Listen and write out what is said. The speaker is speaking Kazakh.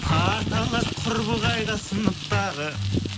парталас құрбы қайда сыныптағы